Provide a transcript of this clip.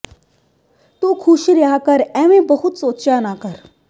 ਤੂੰ ਖੁਸ਼ ਰਿਹਾ ਕਰ ਐਵੇਂ ਬਹੁਤਾ ਸੋਚਿਆ ਨ ਕਰ